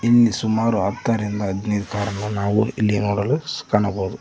ಇಲ್ಲಿ ಸುಮಾರು ಹತ್ತರಿಂದ ಹದಿನೈದು ಕಾರುಗಳನ್ನು ನಾವು ಇಲ್ಲಿ ನೋಡಲು ಕಾಣಬಹುದು.